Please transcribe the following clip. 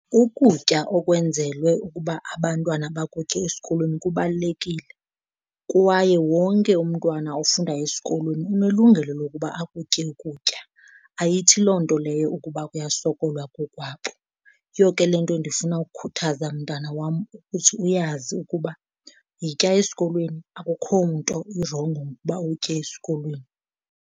Ukutya okwenzelwe ukuba abantwana bakutye esikolweni kubalulekile kwaye wonke umntwana ofundayo esikolweni unelungelo lokuba akutye ukutya, ayithi loo nto leyo ukuba kuyasokolwa kokwabo. Yiyo ke le nto ndifuna ukukhuthaza mntana wam ukuthi uyazi ukuba yitya esikolweni, akukho nto irongo ngokuba utye esikolweni.